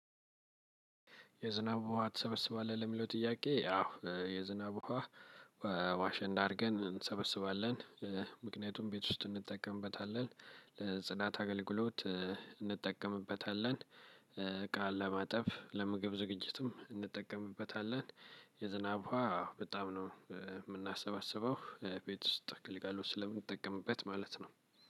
የዝናብ ውሃ ትሰበስባለህ? ለሚለው ጥያቄ አው የዝናብ ውሃ ዋሽንዳ እንዳደርገን እንሰበስባለን። ምክንያቱም ቤት ውስጥ እንጠቀምበታለን ለጽዳት አገልግሎት እንጠቀምበታለን። እቃ ለማጠብ ለምግብ ዝግጅትም እንጠቀምበታለን። የዝናብ ውሃ በጣም ነው የምናሰባስበው ቤት ውስጥ ግልጋሎት ስለምንጠቀምበት ማለት ነው።